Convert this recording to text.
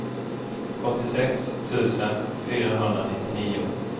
åttiosex tusen fyrahundranittionio